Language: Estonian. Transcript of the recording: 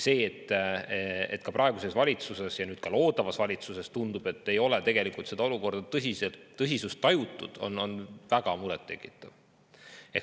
See, et praeguses valitsuses ja tundub, et ka loodavas valitsuses ei ole olukorra tõsisust tajutud, on väga muret tekitav.